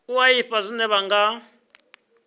u ḓivha zwine vha nga